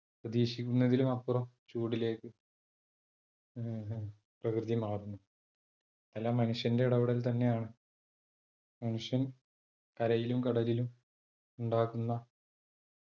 പ്രതീക്ഷിക്കുന്നതിലുമപ്പുറം ചൂടിലേക്ക് ഏർ ഹും പ്രകൃതി മാറുന്നു. എല്ലാം മനുഷ്യന്റെ ഇടപെടൽ തന്നെയാണ്. മനുഷ്യൻ കരയിലും കടലിലും ഉണ്ടാക്കുന്ന